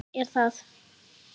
Gísli Óskarsson: Hvað er það?